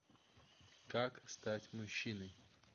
как стать мужчиной